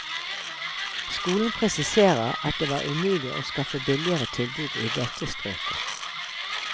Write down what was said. Skolen presiserer at det var umulig å skaffe billigere tilbud i dette strøket.